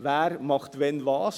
Wer macht wann was?